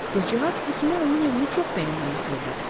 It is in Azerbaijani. Qızcığaz həkimə onun evini çox bəyəndiyini söylədi.